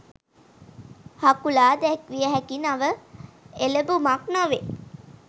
හකුලා දැක්විය හැකි නව එළඹුමක් නොවේ